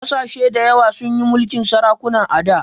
Ƙasashe dayawa sun yi mulkin sarakuna a da